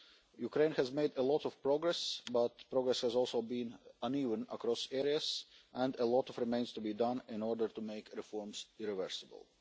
Ukraine has made a lot of progress, but progress has also been uneven across areas, and a lot remains to be done in order to make reforms irreversible.